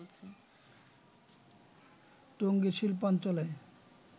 টঙ্গীর শিল্পাঞ্চলে